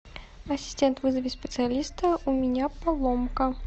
ассистент вызови специалиста у меня поломка